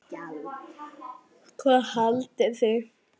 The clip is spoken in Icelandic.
Hvað haldið þið!